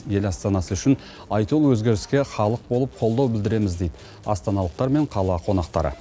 ел астанасы үшін айтулы өзгеріске халық болып қолдау білдіреміз дейді астаналықтар мен қала қонақтары